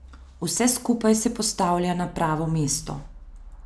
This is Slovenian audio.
Vse skupaj se postavlja na pravo mesto.